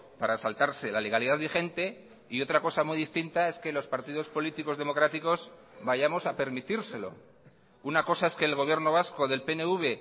para saltarse la legalidad vigente y otra cosa muy distinta es que los partidos políticos democráticos vayamos a permitírselo una cosa es que el gobierno vasco del pnv